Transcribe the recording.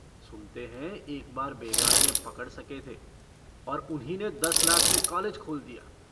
सुनते हैं एक बार बेगार में पकड़ सके थे और उन्हीं ने दस लाख से कालेज खोल दिया।